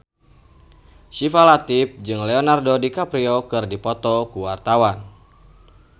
Syifa Latief jeung Leonardo DiCaprio keur dipoto ku wartawan